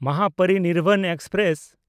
Mahaparinirvan express